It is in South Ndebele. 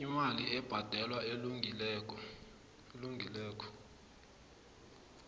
imali ebhadelwako elungileko